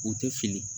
U tɛ fili